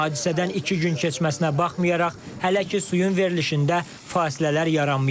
Hadisədən iki gün keçməsinə baxmayaraq, hələ ki suyun verilişində fasilələr yaranmayıb.